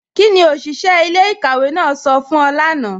Kíni oṣiṣẹ̀ ilẹ̀-ikàwé náà sọ fún ọ̀ lána?